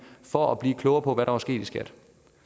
for at blive klogere på hvad der var sket i skat